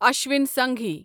Ashwini Singhi